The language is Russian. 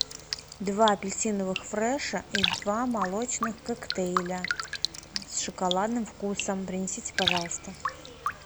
два апельсиновых фреша и два молочных коктейля с шоколадным вкусом принесите пожалуйста